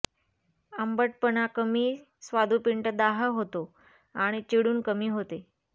आंबटपणा कमी स्वादुपिंड दाह होतो आणि चिडून कमी होते